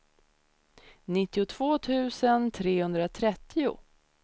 nittiotvå tusen trehundratrettio